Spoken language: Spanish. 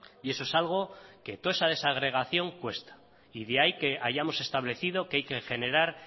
y eso es algo que toda esa desagregación cuesta y de ahí que hayamos establecido que hay que generar